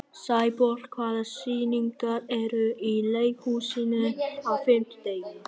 Sæborg, hvaða sýningar eru í leikhúsinu á fimmtudaginn?